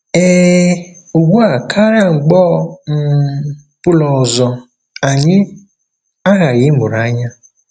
Ee, ugbu a karịa mgbe ọ um bụla ọzọ, anyị aghaghị ịmụrụ anya!